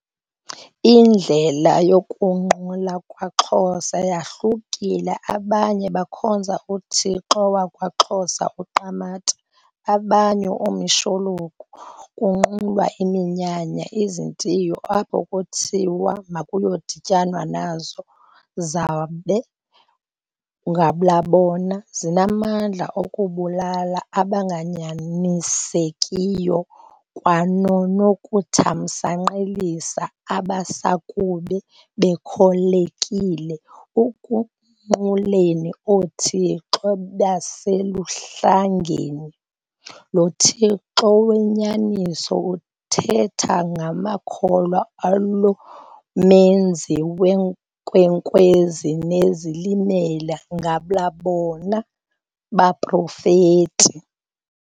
Indlela yokunqula kwaXhosa yahlukile abanye bakhonza uthixo wakwaXhosa UQamatha, abanye omishologu, kunqulwa iminyanya, izintio apho kuthiwa kuyadityanwa nazo, zabe, ngabula bona, zinamandla okubabulala abanganyanisekiyo kwanonokuthamsanqelisa abasakuba bekholekile ekunquleni oothixo beseluHlangeni. Lo Thixo wenyaniso uthetha ngamakholwa alo menzi weenkwenkwezi noozilimela, ngabula bona baProfeti,